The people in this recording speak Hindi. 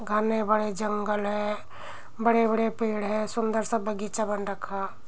घने बड़े जंगल है। बड़े-बड़े पेड़ हैं। सुंदर सा बगीचा बना रखा।